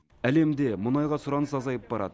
әлемде мұнайға сұраныс азайып барады